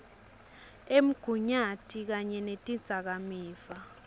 emgunyati kanye netidzakamiva